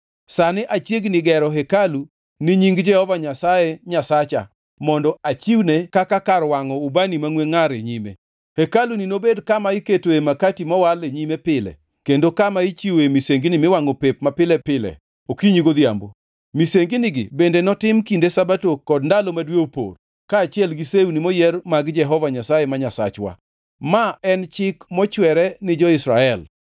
Sani achiegni gero hekalu ni Nying Jehova Nyasaye Nyasacha mondo achiwne kaka kar wangʼo ubani mangʼwe ngʼar e nyime. Hekaluni nobed kama iketoe makati mowal e nyime pile, kendo kama ichiwoe misengini miwangʼo pep mapile pile okinyi godhiambo. Misenginigi bende notim kinde Sabato kod ndalo ma dwe opor, kaachiel gi sewni moyier mag Jehova Nyasaye ma Nyasachwa. Ma en chik mochwere ni jo-Israel.